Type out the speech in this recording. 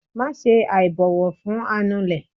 maṣe aibọwọ fun anulè